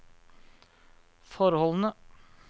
forholdene